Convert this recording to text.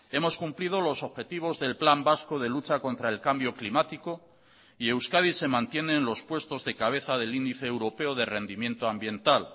hemos cumplido los objetivos del plan vasco de lucha contra el cambio climático y euskadi se mantiene en los puestos de cabeza del índice europeo de rendimiento ambiental